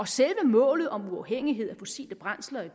sætte målet om uafhængighed af fossile brændsler i